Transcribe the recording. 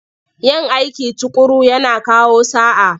Yin aiki tuƙuru yana kawo sa'a.